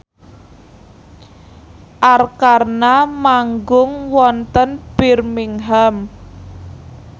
Arkarna manggung wonten Birmingham